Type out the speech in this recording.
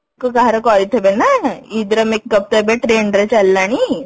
କାହାର କରିଥିବେ ନା ଇଦ ର makeup ତ ଏବେ trend ରେ ଚାଲିଲାଣି